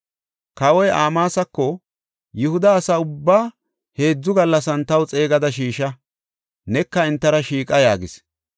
Kawoy Amaasako, “Yihuda asa ubbaa heedzu gallasan taw xeegada shiisha; neka entara shiiqa” yaagis.